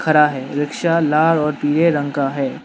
खड़ा है रिक्शा लाल और पीले रंग का है।